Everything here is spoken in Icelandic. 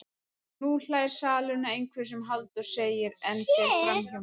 Nú hlær salurinn að einhverju sem Halldór segir en fer framhjá mér.